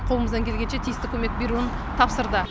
қолымыздан келгенше тиісті көмек беруін тапсырды